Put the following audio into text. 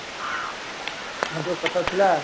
ଆଉ ଯୋ କଥା ଥିଲା